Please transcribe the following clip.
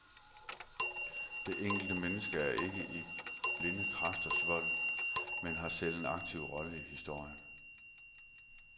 Det enkelte menneske er ikke i blinde kræfters vold, men har selv en aktiv rolle i historien.